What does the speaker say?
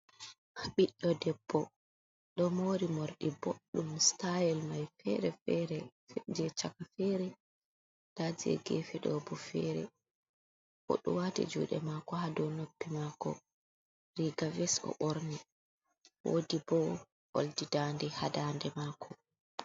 Biɗdo debbo do mori morɗi boddum sitayel mai fere fere je chaka fere daje gefe ɗobo fere odo wati juɗe mako ha dow noppi mako rigaves o borni woɗi bo olɗi daɗe ha daɗe mako.